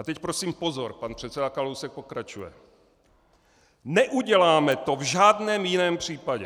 A teď prosím pozor, pan předseda Kalousek pokračuje: Neuděláme to v žádném jiném případě.